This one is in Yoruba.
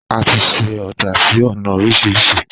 Àtí sẹ ọdà sí ọna òrísìrísì